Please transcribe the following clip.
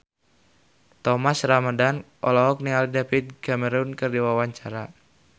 Thomas Ramdhan olohok ningali David Cameron keur diwawancara